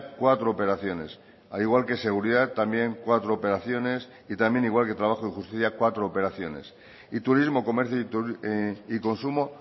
cuatro operaciones al igual que seguridad también cuatro operaciones y también igual que trabajo y justicia cuatro operaciones y turismo comercio y consumo